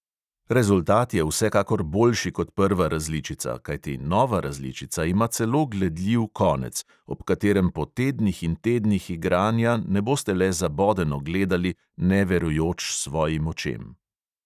Rezultat je vsekakor boljši kot prva različica, kajti nova različica ima celo gledljiv konec, ob katerem po tednih in tednih igranja ne boste le zabodeno gledali, ne verujoč svojim očem.